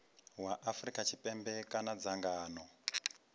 wa afrika tshipembe kana dzangano